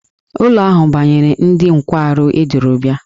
Ụlọ ahụ banyere ndị nkwarụ eduru bịa.